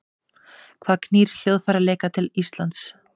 Hvað knýr hljóðfæraleikara til Íslands?